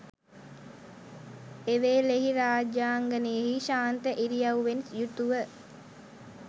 එවේලෙහි රාජාංගනයෙහි ශාන්ත ඉරියව්වෙන් යුතුව